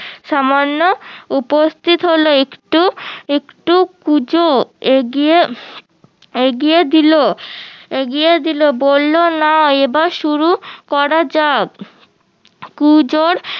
সামান্য উপস্থিত হলো একটু একটু কুঁজো এগিয়ে দিলো এগিয়ে দিলো বললো না এবার শুরু করা যাক কুঁজোর